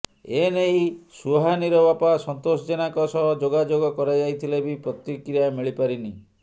ଏନେଇ ସୁହାନୀର ବାପା ସନ୍ତୋଷ ଜେନାଙ୍କ ସହ ଯୋଗାଯୋଗ କରାଯାଇଥିଲେବି ପ୍ରତିକ୍ରିୟା ମିଳିପାରିନି